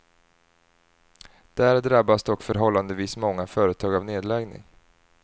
Där drabbas dock förhållandevis många företag av nedläggning.